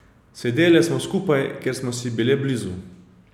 Sedele smo skupaj, ker smo si bile blizu.